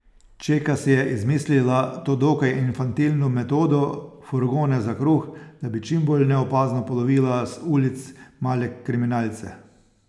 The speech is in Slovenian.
Čeka si je izmislila to dokaj infantilno metodo, furgone za kruh, da bi čim bolj neopazno polovila z ulic male kriminalce.